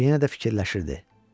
O yenə də fikirləşirdi.